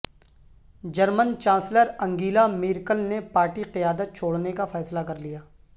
German chancellor Angela Merkel نے party قیادت چھوڑنے کا فیصلہ کرلیا